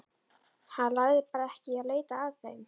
Hann lagði bara ekki í að leita að þeim.